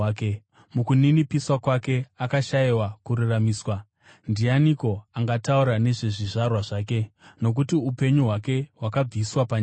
Mukuninipiswa kwake akashayiwa kururamisirwa. Ndianiko angataura nezvezvizvarwa zvake? Nokuti upenyu hwake hwakabviswa panyika.”